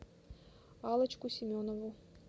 аллочку семенову